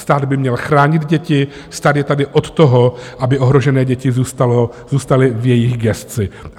Stát by měl chránit děti, stát je tady od toho, aby ohrožené děti zůstaly v jeho gesci.